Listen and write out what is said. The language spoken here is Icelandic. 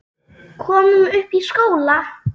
Komum upp í skóla!